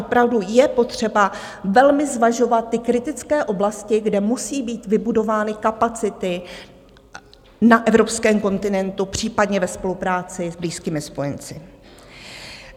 Opravdu je potřeba velmi zvažovat ty kritické oblasti, kde musí být vybudovány kapacity na evropském kontinentu, případně ve spolupráci s blízkými spojenci.